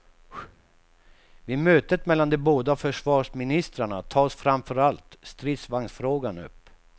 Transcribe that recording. Vid mötet mellan de båda försvarsministrarna tas framför allt stridsvagnsfrågan upp.